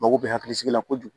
Mako be hakili sigi la kojugu